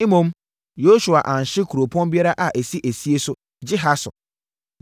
Mmom, Yosua anhye kuropɔn biara a ɛsi esie so gye Hasor.